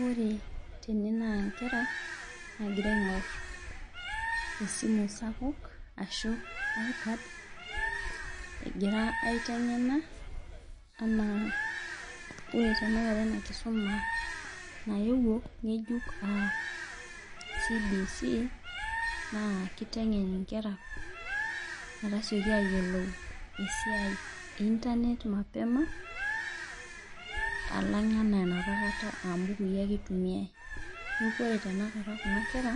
Ore tene na nkera nagira aingor esimu sapuk egira aitengena ore tanakata enakisuma naewuo ngejuk na kitengen nkera metasioki ayiolou esiai e internet mapema alang ana enapakata aambukui ake itumia mi neakuore kuna kera